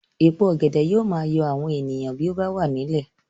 Èpo ọ̀gẹ̀dẹ̀ yóò máa yọ àwọn èèyàn bó bá wà nílẹ̀